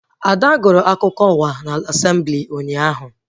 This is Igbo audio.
Ada gụrụ akụkọ ụwa na Asemblị ụnyaahụ